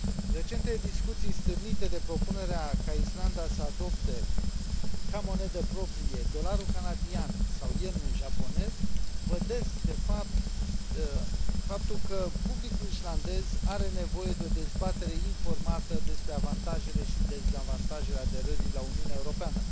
Recentele discuții stârnite de propunerea ca Islanda să adopte ca monedă proprie dolarul canadian sau yenul japonez vădesc, de fapt, faptul că publicul islandez are nevoie de o dezbatere informată despre avantajele și dezavantajele aderării la Uniune Europeană.